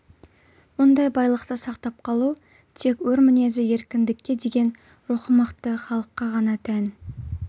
мұндай байлықты сақтап қалу тек өр мінезді еркіндікке деген рухы мықты халыққа ғана тән